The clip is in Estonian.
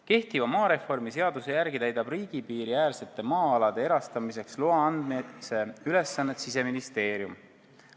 Kehtiva maareformi seaduse järgi täidab riigi piiriäärsete maa-alade erastamiseks loa andmise ülesannet Siseministeerium.